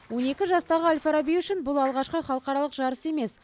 он екі жастағы әл фараби үшін бұл алғашқы халықаралық жарыс емес